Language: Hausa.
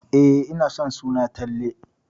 E, ina son suna Talle.